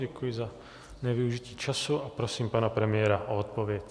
Děkuji za nevyužití času a prosím pana premiéra o odpověď.